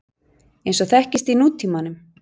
eins og þekkist í nútímanum.